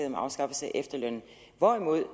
om afskaffelse af efterlønnen hvorimod